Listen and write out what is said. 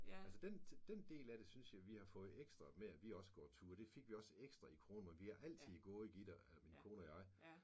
Altså den den del af det synes jeg at vi har fået ekstra med at vi også går ture det fik vi også ekstra i corona men vi har altid gået Gitte eller min kone og jeg